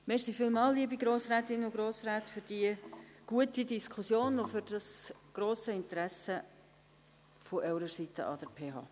Vielen Dank, liebe Grossrätinnen und Grossräte, für diese gute Diskussion und für das grosse Interesse Ihrerseits an der PH.